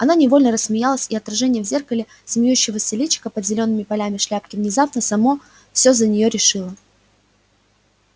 она невольно рассмеялась и отражение в зеркале смеющегося личика под зелёными полями шляпки внезапно само всё за неё решило